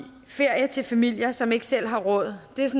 ferie til familier som ikke selv har råd er